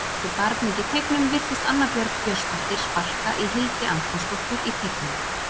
Eftir barning í teignum virtist Anna Björg Björnsdóttir sparka í Hildi Antonsdóttur í teignum.